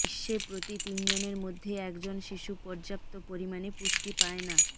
বিশ্বে প্রতি তিনজনের মধ্যে একজন শিশু পর্যাপ্ত পরিমাণে পুষ্টি পায় না